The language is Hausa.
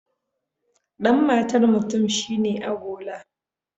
Dan matar mutum shi ne agola.